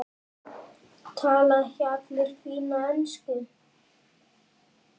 Tala ekki allir fína ensku?